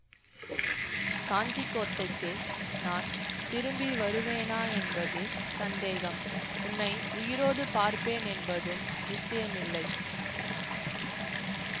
காஞ்சி கோட்டைக்கு நான் திரும்பி வருவேனா என்பது சந்தேகம் உன்னை உயிரோடு பார்ப்பேன் என்பதும் நிச்சயமில்லை